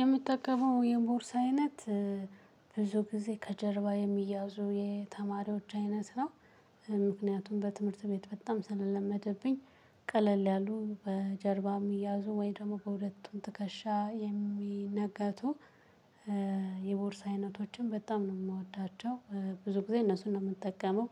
የሚጠቀመው የቦርሳ አይነት ብዙ ጊዜ ከጀርባ የሚያዙ የተማሪዎች አይነት ነው። ምክንያቱም በትምህርት ቤት በጣም ስለለመደብኝ ቀለል ያሉ በጀርባም ሚያዙ ወይ ደግሞ በሁለቱም ትከሻ የሚነገቱ የቦርሳ አይነቶችን በጣም ነው የምወዳቸው። ብዙ ጊዜ እነሱን ነው የምንጠቀመው።